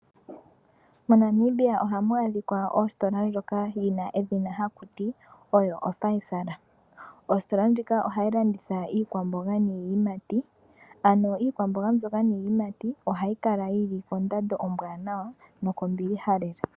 Mo Namibia ohamu adhika ositola ndjoka yina edhina haku ti oyo Fysal. Ositola ndjika ohayi landitha iikwamboga niiyimati ano iikwamboga mbyoka niiyimati kondando ombwanawa noko mbiliha lela.